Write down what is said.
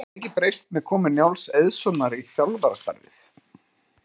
Og hann svaraði, og brosti ugglaust illkvittnislega: Nei.